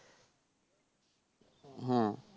হ্যাঁ